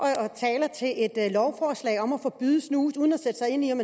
et lovforslag om at forbyde snus uden at sætte sig ind i om